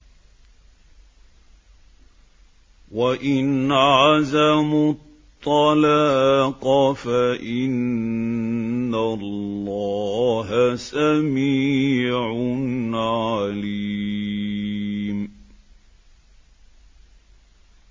وَإِنْ عَزَمُوا الطَّلَاقَ فَإِنَّ اللَّهَ سَمِيعٌ عَلِيمٌ